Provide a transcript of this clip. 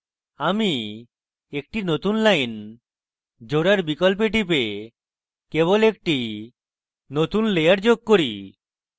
adding একটি নতুন line জোড়ার বিকল্পে টিপে কেবল একটি নতুন layer যোগ করি